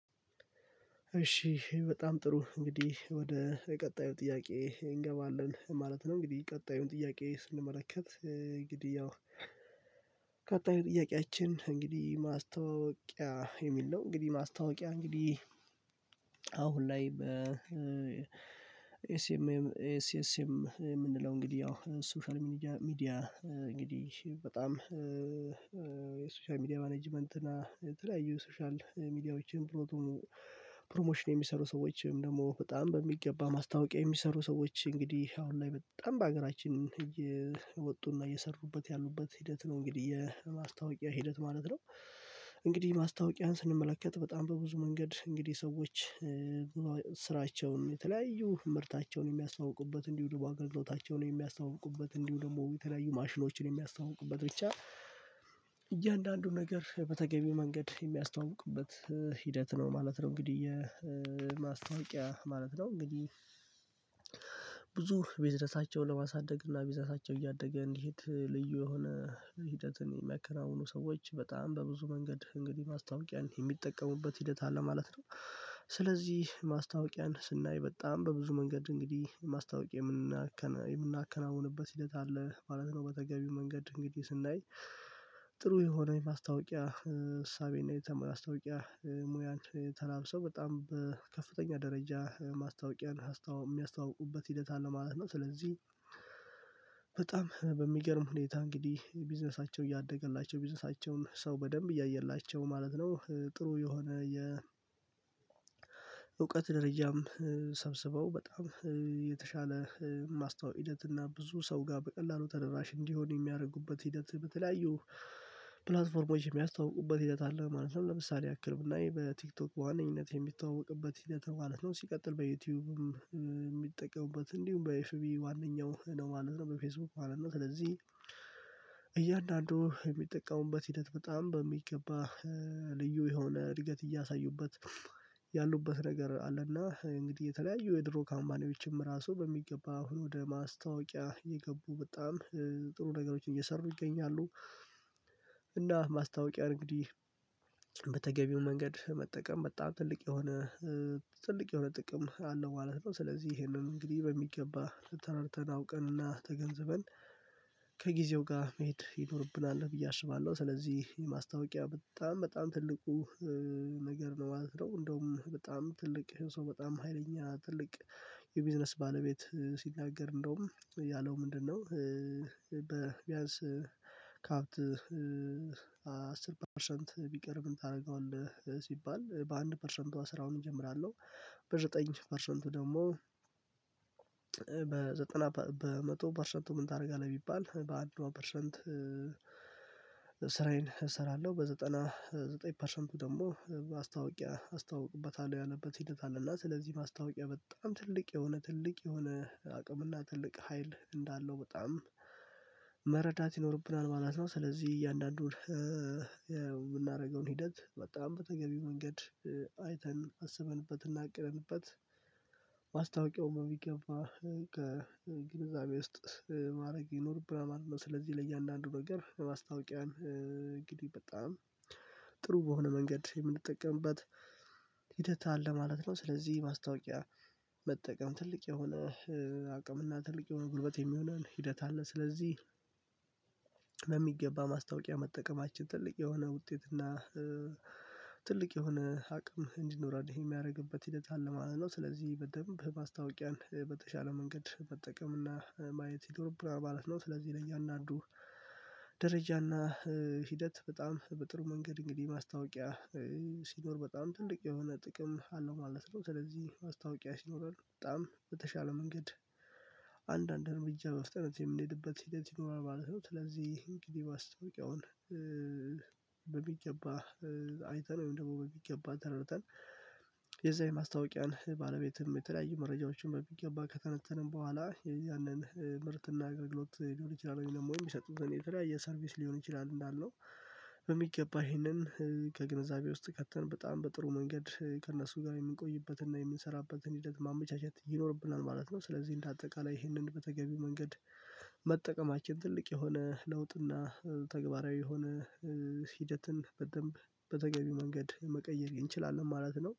እሺ በጣም ጥሩ እንግዲህ ወደ ቀጣዩ ጥያቄ እንገባለን ማለት ነው። እንግዲህ ቀጣዩን ጥያቄ ስንመለከት እንግዲህ ያው ቀጣይ ጥያቄያችን እንግዲህ ማስታወቂያ የሚል ነው። እንግዲህ ማስታወቂያ እንግዲህ አሁን ላይ በ ኤስኤስኤም የምንለው እንግዲህ ያው ሶሻል ሚዲያ እንግዲህ በጣም የሶሻል ሚዲያ ማኔጅመንት እና የተለያዩ ሶሻል ሚዲያዎችን ፕሮሞሽን የሚሰሩ ሰዎችንም ደግሞ በጣም በሚገባ ማስታወቂያ የሚሰሩ ሰዎች እንግዲህ አሁን ላይ በጣም በሀገራችን እየወጡና እየሰሩበት ያሉበት ሂደት ነው እንግዲህ የማስታወቂያ ሂደት ማለት ነው። እንግዲህ ማስታወቂያን ስንመለከት በጣም በብዙ መንገድ እንግዲህ ሰዎች ስራቸውን የተለያዩ ምርታቸውን የሚያስተዋውቁበት እንዲሁ ደግሞ አገልግሎታቸውን የሚያስተዋውቁበት እንዲሁ ደግሞ የተለያዩ ማሽኖችን የሚያስተዋውቁበት ብቻ እያንዳንዱን ነገር በተገቢው መንገድ የሚያስተዋውቅበት ሂደት ነው ማለት ነው። እንግዲህ የማስታወቂያ ማለት ነው እንግዲህ ቢዝነሳቸው ለማሳደግ እና ቢዝነሳቸው እያደገ እንዲሄድ ልዩ የሆነ ሂደትን የሚያከናውኑ ሰዎች በጣም በብዙ መንገድ እንግዲህ ማስታወቂያን የሚጠቀሙበት ሂደት አለ ማለት ነው። ስለዚህ ማስታወቂያን ስናይ በጣም በብዙ መንገድ እንግዲህ ማስታወቂያ የምናከናውንበት ሂደት አለ ማለት ነው በተገቢው መንገድ እንግዲህ ስናይ ጥሩ የሆነ ማስታወቂያ እሳቤንና ማስታወቂያ ሙያ ተላብሶ በጣም በከፍተኛ ደረጃ ማስታወቂያን የሚያስታውቁበት ሂደት አለ ማለት ነው። ስለዚህ በጣም በሚገርም ሁኔታ እንግዲህ ቢዝነሳቸው እያደገላቸው ቢዝነሳቸውን ሰው በደንብ እያየላቸው ማለት ነው ጥሩ የሆነ የ እውቀት ደረጃም ሰብስበው በጣም የተሻለ ማስታወ ሂደትና ብዙ ሰው ጋር በቀላሉ ተደራሽ እንዲሆን የሚያደርጉበት ሂደት በተለያዩ ፕላትፎርሞች የሚያስተውቁበት ሂደት አለ ማለት ነው። ለምሳሌ ያክል ብላይ በቲክቶክ ዋነኝነት የሚተዋወቅበት ሂደት ማለት ነው። ሲቀጥል በዩቲዩብም የሚጠቀሙበት እንዲሁም በኤፍቢ ዋነኛው ነው ማለት ነው በፌስቡክ አለን ነው። ስለዚህ እያንዳንዱ የሚጠቀሙበት ሂደት በጣም በሚገባ ልዩ የሆነ እድገት እያሳዩበት ያሉበት ነገር አለና እንግዲህ የተለያዩ የድሮ ካማፓኒዎችም ራሱ በሚገባ አሁን ወደ ማስታወቂያ የገቡ በጣም ጥሩ ነገሮችን እየሰሩ ይገኛሉ። እና ማስታወቂያ እንግዲህ በተገቢው መንገድ መጠቀም በጣም ትልቅ የሆነ ትልቅ የሆነ ጥቅም አለው ማለት ነው። ስለዚህ ይሄንም እንግዲህ በሚገባ ተረድተን አውቀንና ተገንዝበን ከጊዜው ጋር መሄድ ይኖርብናል ብዬ አሽባለሁ ስለዚህ ማስታወቂያ በጣም በጣም ትልቁ ነገር ነው ማለት ነው። እንደውም በጣም ትልቅ ሰው በጣም ሀይለኛ ትልቅ የቢዝነስ ባለቤት ሲናገር እንደውም ያለው ምንድነው? በቢያንስ ካፕት አስር ፐርሰንት ቢቀርብም ታደርገዋለህ ሲባል በአንድ ፐርሰንቱ ስራውን እጀምራለሁ። በዘጠኝ ፐርሰንቱ ደግሞ በዘጠና በመቶ ፐርሰንቱ ምን ታደርጋለህ ቢባል በአድዋ ፐርሰንት? ስራዬን እሰራለሁ በዘጠና ዘጠኝ ፐርሰንቱ ደግሞ ማስታወቂያ አስታውቅበታለሁ ያነበበት ሂደት አለና ስለዚህ ማስታወቂያ በጣም ትልቅ የሆነ ትልቅ የሆነ አቅምና ትልቅ ሀይል እንዳለው በጣም መረዳት ይኖርብናል ማለት ነው። ስለዚህ እያንዳንዱን የምናደርገውን ሂደት በጣም በተገቢው መንገድ አይተን አስበንበትና አቅረንበት ማስታወቂያው በሚገባ ከግንዛቤ ውስጥ ማድረግ ይኖርብናል ማለት ነው። ስለዚህ ለእያንዳንዱ ነገር በማስታወቂያን እንግዲህ በጣም ጥሩ በሆነ መንገድ የምንጠቀምበት ሂደት አለ ማለት ነው። ስለዚህ ማስታወቂያ መጠቀም ትልቅ የሆነ አቅምና ትልቅ የሆነ ጉልበት የሚሆነን ሂደት አለ። ስለዚህ በሚገባ ማስታወቂያ መጠቀማችን ትልቅ የሆነ ውጤት እና ትልቅ የሆነ አቅም እንዲኖረን ይሄ የሚያደርግበት ሂደት አለ ማለት ነው። ስለዚህ በደንብ በማስታወቂያን በተሻለ መንገድ መጠቀምና ማየት ይኖርብናል ማለት ነው። ስለዚህ ለየ አንዳ አንዱ ደረጃና ሂደት በጣም በጥሩ መንገድ እንግዲህ ማስታወቂያ ሲኖር በጣም ትልቅ የሆነ ጥቅም አለው ማለት ነው። ስለዚህ ማስታውቂያ ሲኖረን በጣም በተሻለ መንገድ አንዳንድ እርምጃ በፍጥነት የምንሄድበት ሂደት ይኖራል ማለት ነው። ስለዚህ እንግዲህ ማስተዋቂያውን በሚገባ አይተነው ወይም ደግሞ በሚገባ ተረድተን የዛ የማስታወቂያን ባለቤትም የተለያዩ መረጃዎችን በሚገባ ከተነተንም በኋላ ያንን ምርትና አገልግሎት ሊሆን ይችላል ወይም የሚሰጡትን የተለያየ ሰርቪስ ሊሆን ይችላል እንዳለው በሚገባ ይሄንን ከግንዛቤ ውስጥ ከተን በጣም በጥሩ መንገድ ከእነሱ ጋር የምንቆይበትን እና የምንሰራበትን ሂደት ማመቻቸት ይኖርብናል ማለት ነው። ስለዚህ እንደ አጠቃላይ ይህንን በተገቢው መንገድ መጠቀማችን ትልቅ የሆነ ለውጥና ተግባራዊ የሆነ ሂደትን በደንብ በተገቢ መንገድ መቀየር እንችላለን ማለት ነው